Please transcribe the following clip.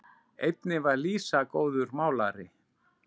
Einnig var Lísa góður málari.